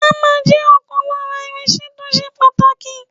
Ámà jẹ́ ọ̀kan lára irinṣẹ́ tó ṣe pàtàkì.